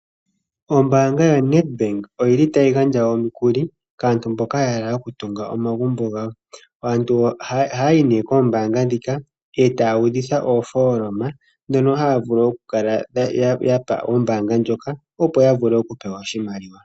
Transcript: Ombaanga ya Nedbank oyili tayi gandja omukuli kaantu mboka ya hala okutunga omagumbo gawo. Aantu ohaya yi nee koombanga ndhika etaya udhitha oofooloma, ndhono haya vulu okukala yapa oombanga ndjoka opo ya vule oku pewa oshimaliwa.